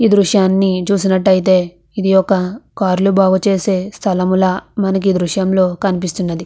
ఈ దృశ్యాన్ని చూసినట్టయితే ఇది ఒక కార్లు బాగు చేసే స్థలములా మనకి ఈ దృశ్యంలో కనిపిస్తునది.